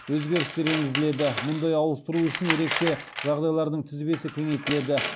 өзгерістер енгізіледі мұндай ауыстыру үшін ерекше жағдайлардың тізбесі кеңейтіледі